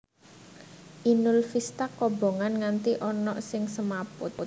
Inul Vista kobongan nganti ono sing semaput